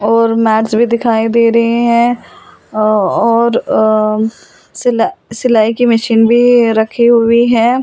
और मेज भी दिखाई दे रहे हैं और अ सिला सिलाई की मशीन भी रखी हुई है।